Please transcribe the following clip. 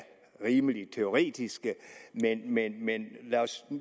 rimelig teoretiske men men lad os